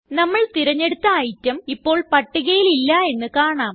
നമ്മള് തിരഞ്ഞെടുത്ത ഇടെം ഇപ്പോൾ പട്ടികയിൽ ഇല്ല എന്ന് കാണാം